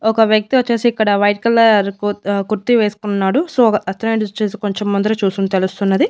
ఒక వ్యక్తి వచ్చేసి ఇక్కడ వైట్ కలర్ కుర్ ఆ కుర్తి వేసుకున్నాడు సో అతనేంటి వచ్చేసి కొంచెం ముందర చూసింది తెలుస్తున్నది.